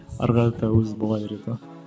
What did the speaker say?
ары қарата өзі бола береді ғой